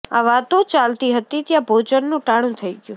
આ વાતો ચાલતી હતી ત્યાં ભોજનનું ટાણું થઇ ગયું